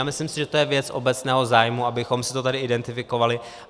A myslím si, že to je věc obecného zájmu, abychom si to tady identifikovali.